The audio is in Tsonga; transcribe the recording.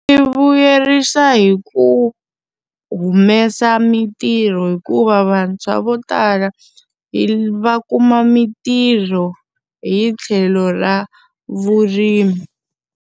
Byi vuyerisa hi ku humesa mitirho hikuva vantshwa vo tala va kuma mitirho hi tlhelo ra vurimi.